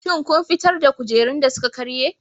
Shin kun fitar da kujerun da suka karye?